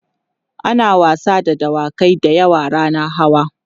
ana wasa da dawakai da yawa rannan hawa